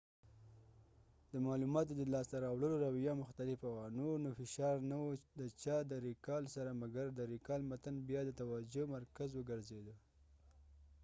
د معلوماتو د لاس ته راوړلو رويه مختلفه وه نور نو فشار نه و د چا د ریکال سره مګر د ریکال متن بیا د توجه مرکز وګرځیده